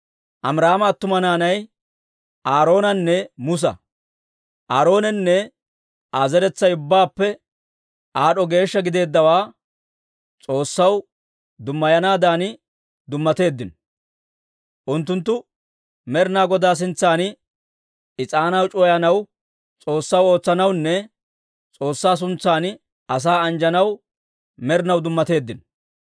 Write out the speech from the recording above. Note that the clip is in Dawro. Amiraama attuma naanay Aaroonanne Musa. Aaroonenne Aa zeretsay ubbaappe aad'd'o geeshsha gideeddawaa S'oossaw dumayanaadan dummateeddino. Unttunttu Med'inaa Godaa sintsan is'aanaa c'uwayanaw, S'oossaw ootsanawunne S'oossaa suntsan asaa anjjanaw med'inaw dummateeddino.